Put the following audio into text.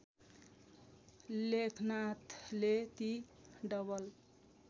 लेखनाथले ती डबल